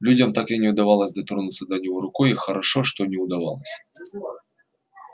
людям так и не удавалось дотронуться до него рукой и хорошо что не удавалось